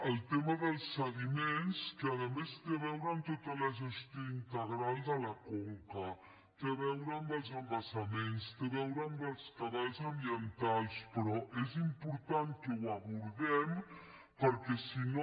el tema dels sediments que a més té a veure amb tota la gestió integral de la conca té a veure amb els embassaments té a veure amb els cabals ambientals però és important que ho abordem perquè si no